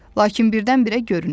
Lakin birdən-birə görünür.